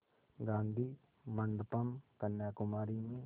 गाधी मंडपम् कन्याकुमारी में